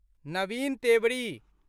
Naveen Tewari